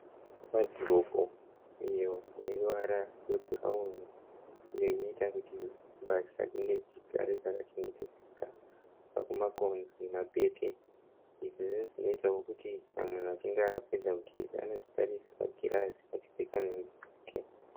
Wadhiropu iyo ine ruvara rwebhurauni. Iyo inoita kuti mbatya dzinge dzichigare dzakachengetedzeka kubva kumakonzo nemapete. Izvi ndizvo zvinoitawo kuti kana munhu achinge apedza kugeza anozvitarisa mugirazi achipfeka nhumbi dzake.